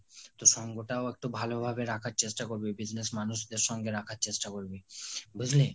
তো সঙ্গ টাও একটু ভালো ভাবে রাখার চেষ্টা করবি, business মানুষদের সঙ্গে রাখার চেষ্টা করবি। বুজলি?